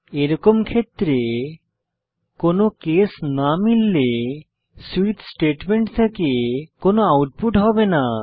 এরকম ক্ষেত্রে কোনো কেস না মিললে সুইচ স্টেটমেন্ট থেকে কোনো আউটপুট হবে না